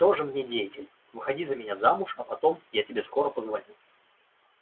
тоже мне деятель выходи за меня замуж а потом я тебе скоро позвоню